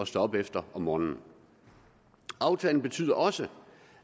stå op efter om morgenen aftalen betyder også